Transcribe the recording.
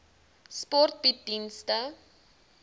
sport bied dienste